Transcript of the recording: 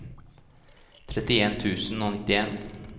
trettien tusen og nittien